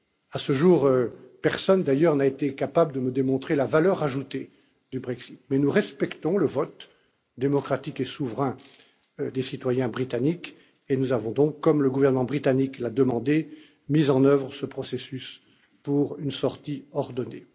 À ce jour, personne d'ailleurs n'a été capable de me démontrer la valeur ajoutée du Brexit, mais nous respectons le vote démocratique et souverain des citoyens britanniques et nous avons donc, comme le gouvernement britannique l'a demandé, mis en œuvre ce processus pour une sortie ordonnée.